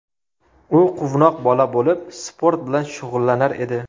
U quvnoq bola bo‘lib sport bilan shug‘ullanar edi.